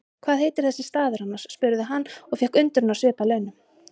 Hvað heitir þessi staður annars? spurði hann og fékk undrunarsvip að launum.